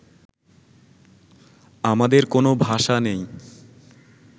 আমাদের কোনো ভাষা নেই